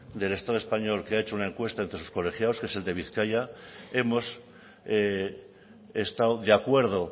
del estado español que ha hecho una encuesta entre sus colegiados que es el de bizkaia hemos estado de acuerdo